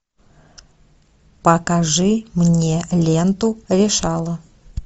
покажи мне ленту решала